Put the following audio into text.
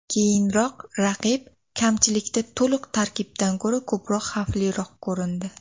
Keyinroq raqib kamchilikda to‘liq tarkibdan ko‘ra ko‘proq xavfliroq ko‘rindi.